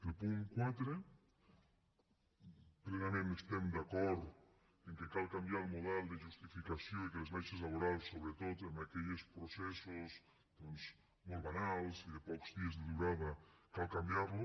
al punt quatre plenament estem d’acord en que cal canviar el model de justificació i que les baixes laborals sobretot en aquelles processos doncs molt banals i de pocs dies de durada cal canviar ho